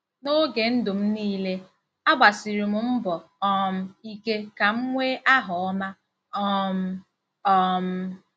N'oge ndụ m niile, agbasiri m mbọ um ike ka m nwee aha ọma um. um